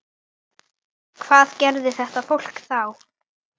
Hvað gerði þetta fólk þá?